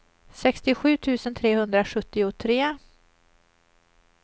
sextiosju tusen trehundrasjuttiotre